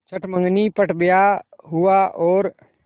चट मँगनी पट ब्याह हुआ और